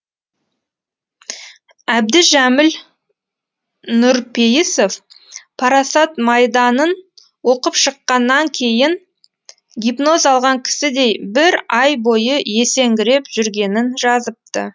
әбдіжәміл нұрпейісов парасат майданын оқып шыққаннан кейін гипноз алған кісідей бір ай бойы есеңгіреп жүргенін жазыпты